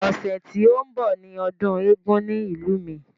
Ọ̀sẹ̀ tí ó ń bọ̀ ni ọdún eégún ní ìlú mi.